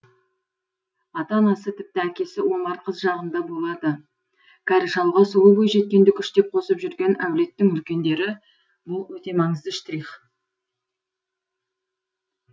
ата анасы тіпті әкесі омар қыз жағында болады кәрі шалға сұлу бойжеткенді күштеп қосып жүрген әулеттің үлкендері бұл өте маңызды штрих